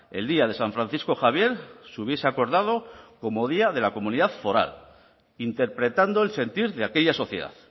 el día de san francisco javier se hubiese acordado como día de la comunidad foral interpretando el sentir de aquella sociedad